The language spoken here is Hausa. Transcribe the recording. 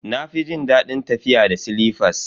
Na fi jin dadin tafiya da silifas.